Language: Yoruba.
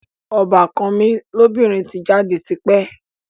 Ọbàkan mi lóbìnrin ti jáde ti pẹ́